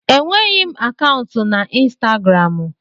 Enweghị m akaụntụ na Instagramụ.